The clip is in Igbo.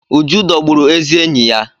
Uju dọgbụrụ ezi enyi ya.